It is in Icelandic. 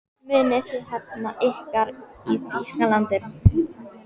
Munuð þið hefna ykkar í Þýskalandi?